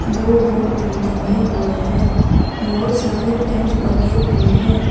दो बोर्ड भी टंगे हुए है बहुत सारे पेंट बकेट भी है।